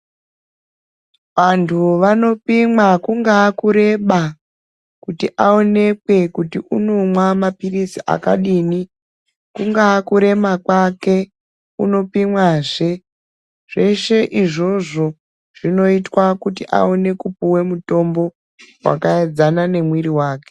Antu anopimwa kungava kureba kuti aonekwen kuti unomwa mapirizi akadini kungava kurema kwake unopimwazve zveshe izvozvo zvinoitwa kuti aonekwe kupuwe mutombo wakaedzana nemwiri wake.